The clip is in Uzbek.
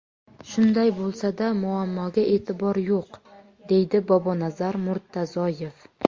Shunday bo‘lsa-da, muammoga e’tibor yo‘q”, deydi Bobonazar Murtazoyev.